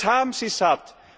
Und das haben sie satt!